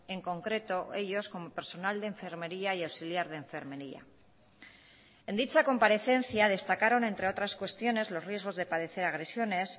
en concreto ellos como personal de enfermería y auxiliar de enfermería en dicha comparecencia destacaron entre otras cuestiones los riesgos de padecer agresiones